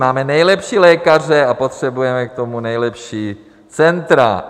Máme nejlepší lékaře a potřebujeme k tomu nejlepší centra.